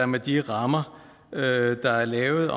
med de rammer der er lavet